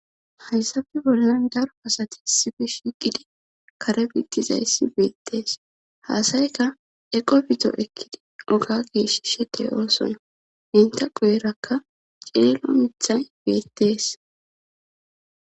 hayssafe bollan daro asati issife shiiqidi kare bittizayssi biittees haasayka eqo bito ekkidi oga giishshishe de, ooson enta quyerakka cielo mithay biittees